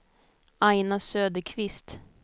Aina Söderqvist